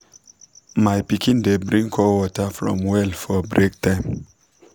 my pikin dey bring cold water from well for break time